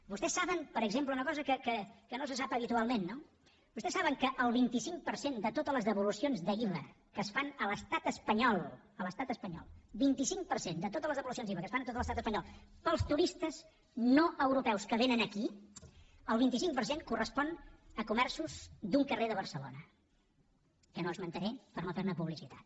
vostès saben per exemple una cosa que no se sap habitualment no que el vint cinc per cent de totes les devolucions d’iva que es fan a l’estat espanyol a l’estat espanyol vint cinc per cent de totes les devolucions d’iva que es fan a tot l’estat espanyol pels turistes no europeus que vénen aquí el vint cinc per cent correspon a comerços d’un carrer de barcelona que no esmentaré per no fer ne publicitat